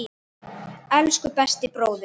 Elsku besti bróðir.